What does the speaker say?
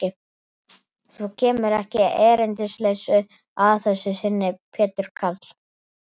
Þú kemur ekki erindisleysu að þessu sinni, Pétur karl.